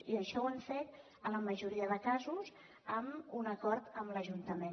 i això ho hem fet en la majoria de casos amb un acord amb l’ajuntament